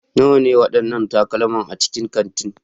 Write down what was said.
Nawa ne waɗannan takalma a cikin kanti?